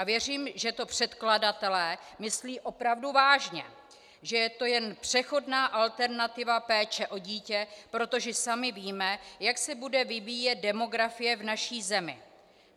A věřím, že to předkladatelé myslí opravdu vážně, že je to jen přechodná alternativa péče o dítě, protože sami víme, jak se bude vyvíjet demografie v naší zemi.